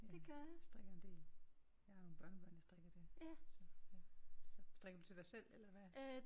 Ja jeg strikker en del. Jeg har nogle børnebørn jeg strikker til så ja så. Strikker du til dig selv eller hvad?